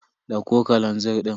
Dauko kalazir din.